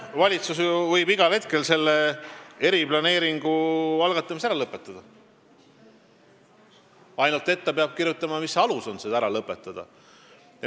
Valitsus võib igal hetkel eriplaneeringu algatamise ära lõpetada, ainult et ta peab kirjutama, mis alus selleks lõpetamiseks on.